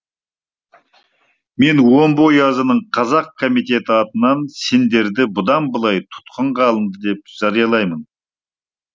мен омбы оязының қазақ комитеті атынан сендерді бұдан былай тұтқынға алынды деп жариялаймын